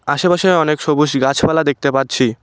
আশেপাশে অনেক সবুজ গাছপালা দেখতে পাচ্ছি।